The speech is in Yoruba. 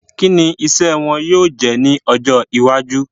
Kí ni iṣẹ́ wọn yóò jẹ́ ní ọjọ́ iwájú?